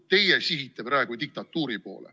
Teie sihite praegu diktatuuri poole.